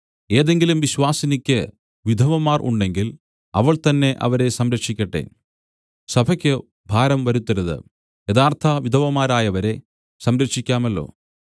ഏതെങ്കിലും വിശ്വാസിനിക്ക് വിധവമാർ ഉണ്ടെങ്കിൽ അവൾ തന്നെ അവരെ സംരക്ഷിക്കട്ടെ സഭയ്ക്ക് ഭാരം വരുത്തരുത് യഥാർത്ഥ വിധവമാരായവരെ സംരക്ഷിക്കാമല്ലോ